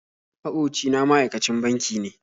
Maƙoci na ma'aikacin banki ne